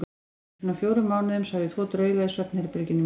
Fyrir svona fjórum mánuðum sá ég tvo drauga í svefnherberginu mínu.